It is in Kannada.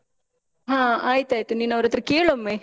ಹ ಆಯ್ತಾಯ್ತು, ನೀನ್ ಅವರತ್ರ ಕೇಳೊಮ್ಮೆ.